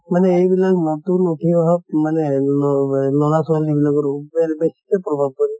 মানে এইবিলাক নতুন উঠি অহা মানে লʼৰা ছৱালী বিলাকৰ ওপৰত বেছিকে প্ৰভাৱ পৰে।